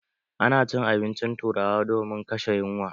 A na cin abincin turawa domin kashe yunwa.